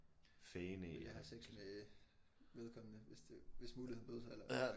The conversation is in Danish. Ville jeg have sex med vedkommende hvis det hvis muligheden bød sig eller